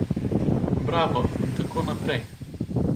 Bravo in tako naprej.